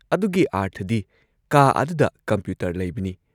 ꯑꯗꯨꯒꯤ ꯑꯥꯔꯊꯗꯤ ꯀꯥ ꯑꯗꯨꯗ ꯀꯝꯄ꯭ꯌꯨꯇꯔ ꯂꯩꯕꯅꯤ ꯫